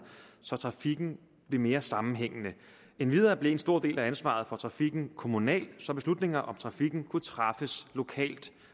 så trafikken blev mere sammenhængende endvidere blev en stor del af ansvaret for trafikken kommunal så beslutninger om trafikken kunne træffes lokalt